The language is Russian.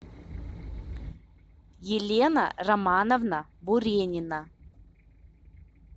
елена романовна буренина